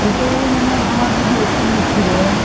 গোটেই মানে আমাৰ যদি APSC ৰ হয়